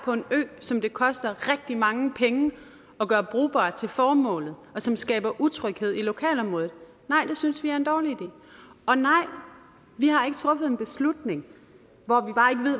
på en ø som det koster rigtig mange penge at gøre brugbar til formålet og som skaber utryghed i lokalområdet nej det synes vi er en dårlig idé og nej vi har ikke truffet en beslutning